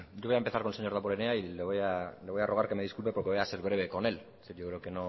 voy a empezar con el señor damborenea y le voy a rogar que me disculpe porque voy a ser breve con él no es